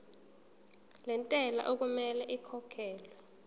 lentela okumele ikhokhekhelwe